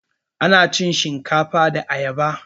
Ana cin shinkafa da ayaba